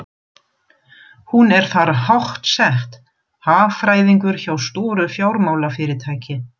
Hún er þar háttsett, hagfræðingur hjá stóru fjármálafyrirtæki.